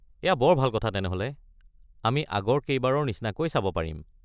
এয়া বৰ ভাল কথা তেনেহ’লে, আমি আগৰ কেইবাৰৰ নিচিনাকৈ চাব পাৰিম।